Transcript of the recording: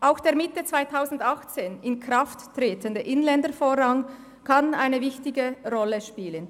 Auch der Mitte 2018 in Kraft tretende Inländervorrang kann eine wichtige Rolle spielen.